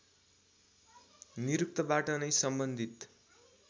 निरुक्तबाट नै सम्बन्धित